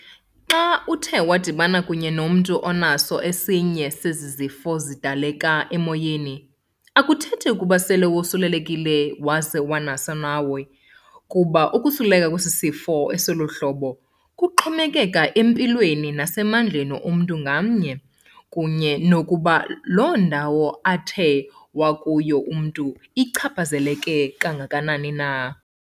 Xa uthe wadibana kunye nomntu onaso esinye sezi zifo zidaleka emoyeni akuthethi ukuba sele wasulelekile waze wanaso nawe, kuba ukusuleleka kwezifo eziloluhlobo kuxhomekeke empilweni nasemandleni omntu ngamnye, kunye nokuba loondawo athe wakuyo umntu ichaphazeleke kangakanani na.